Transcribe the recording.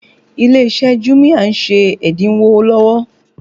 Ilé iṣẹ́ jumia ń ṣe ẹ́dínwó lọ́wọ́